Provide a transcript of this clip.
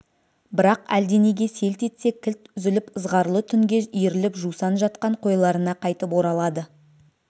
бірақ әлденеге селт етсе кілт үзіліп ызғарлы түнге иіріліп жусан жатқан қойларына қайтып оралады